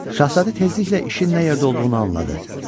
Şahzadə tezliklə işin nə yerdə olduğunu anladı.